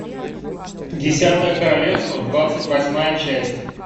десятое королевство двадцать восьмая часть